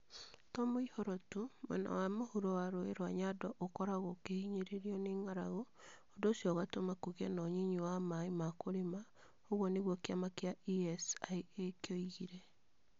"To mũihũro tu, mwena wa mũhuro wa rũũĩ rwa Nyando okoragwo okĩhinyĩrĩrio nĩ ng'aragu. ũndũ ũcio ũgatũma kũgĩe na ũnyinyi wa maaĩ ma kũrĩma." ũguo nĩguo kiama kia ESIA kĩaogire.